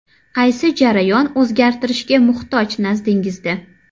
Qaysi jarayon o‘zgartirishga muhtoj nazdingizda?